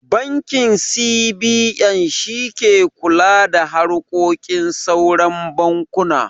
Bankin C.B.N shi ke kula da harkokin sauran bankuna